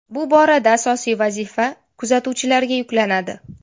Bu borada asosiy vazifa kuzatuvchilarga yuklanadi.